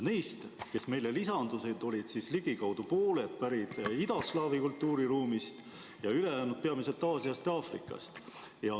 Neist, kes meile lisandusid, olid ligikaudu pooled pärit idaslaavi kultuuriruumist ja ülejäänud peamiselt Aasiast ja Aafrikast.